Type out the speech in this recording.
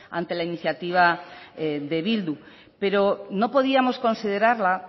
ante la iniciativa de bildu pero no podíamos considerarla